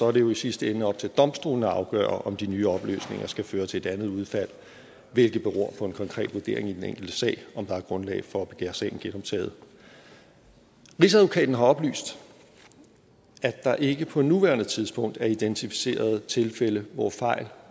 er det jo i sidste ende op til domstolene at afgøre om de nye oplysninger skal føre til et andet udfald og det beror på en konkret vurdering i den enkelte sag om der er grundlag for at begære sagen genoptaget rigsadvokaten har oplyst at der ikke på nuværende tidspunkt er identificeret tilfælde hvor fejl